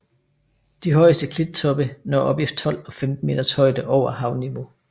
De højeste klittoppe når op i 12 og 15 meters højde over havniveau